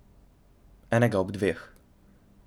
Enega ob dveh.